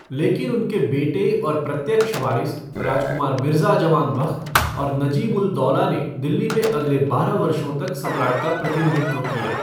लेकिन उनके बेटे और प्रत्यक्ष वारिस राजकुमार मिर्जा जवान बख्त और नजीब उल दौला ने दिल्ली में अगले बारह वर्षों तक सम्राट का प्रतिनिधित्व किया।